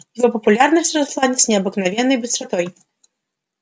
его популярность росла с необыкновенной быстротой